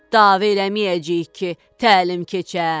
Dava eləməyəcəyik ki, təlim keçə.